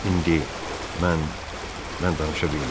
İndi mən, mən danışa bilmirəm.